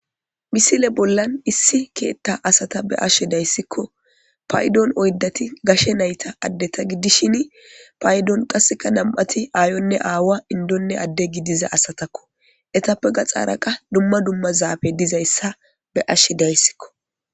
misile bollan issi keeththa asata be ashe dayssikko paydon oyddati gashe nayta addeta giddishin paydon qasseka nam7ati aayonne aawa indonne adde gi diza asatakko etappe ga xaaraqa dumma dumma zaabe dizayssa be ashe dayssikko